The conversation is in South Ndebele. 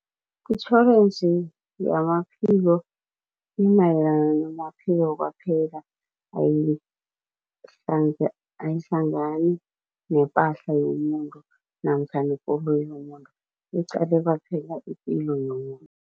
Itjhorensi yamaphilo imayelana namaphilo kwaphela, ayihlangani nepahla yomuntu namkha nekoloyi yomuntu iqale kwaphela ipilo yomuntu.